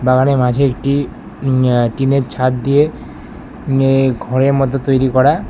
বাগানের মাঝে একটি অ্যা টিনের ছাদ দিয়ে মে ঘরের মতো তৈরি করা।